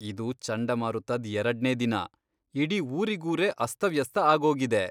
ಇದು ಚಂಡಮಾರುತದ್ ಎರಡ್ನೇ ದಿನ, ಇಡೀ ಊರಿಗೂರೇ ಅಸ್ತವ್ಯಸ್ತ ಆಗೋಗಿದೆ.